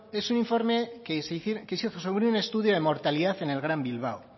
es un informe que se hizo sobre un estudio de mortalidad en el gran bilbao